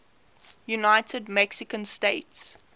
united mexican states